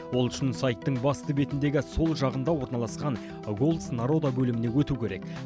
ол үшін сайттың басты бетіндегі сол жағында орналасқан голос народа бөліміне өту керек